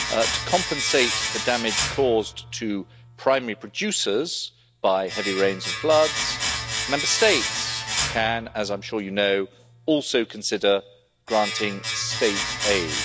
to compensate for damage caused to primary producers by heavy rains and floods, Member States can, as I'm sure you know, also consider granting state aid.